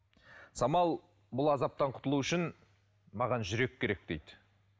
самал бұл азаптан құтылу үшін маған жүрек керек дейді